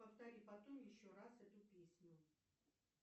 повтори потом еще раз эту песню